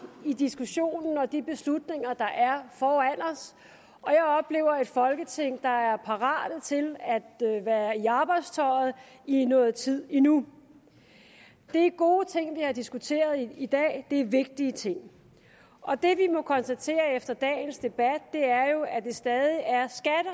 i diskussionen og de beslutninger der er foran os og jeg oplever et folketing der er parat til at være i arbejdstøjet i noget tid endnu det er gode ting vi har diskuteret i dag det er vigtige ting og det vi må konstatere efter dagens debat er jo at det stadig er